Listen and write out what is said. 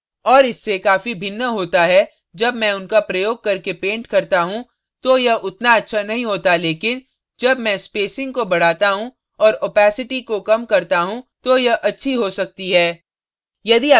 और इससे काफी भिन्न होता है जब मैं उनका प्रयोग करके paint करता हूँ तो यह उतना अच्छा नहीं होता लेकिन जब मैं spacing को बढ़ाता हूँ और opacity को कम करता हूँ तो यह अच्छी हो सकती है